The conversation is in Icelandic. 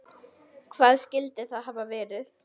Hvað skyldi það hafa verið?